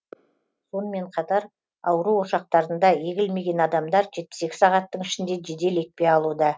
сонымен қатар ауру ошақтарында егілмеген адамдар жетпіс екі сағаттың ішінде жедел екпе алуда